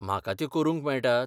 म्हाका त्यो करूंक मेळटात?